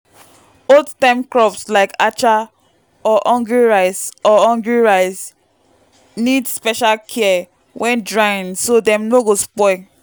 old-time crops like acha or hungry rice or hungry rice need special care when drying so dem no go spoil.